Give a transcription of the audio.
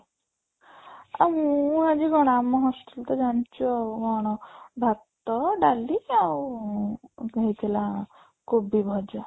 ଆଁ ମୁଁ ଆଜି କ'ଣ ଆମ hostel ତ ଜାଣିଛୁ ଆଉ କ'ଣ ଭାତ ଡାଲି ଆଉ ଉଁ ହେଇଥିଲା କୋବି ଭଜା